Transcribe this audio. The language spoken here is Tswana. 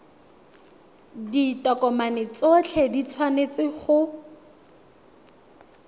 ditokomane tsotlhe di tshwanetse go